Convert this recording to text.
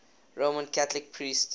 roman catholic priests